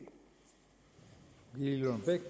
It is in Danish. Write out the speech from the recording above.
idé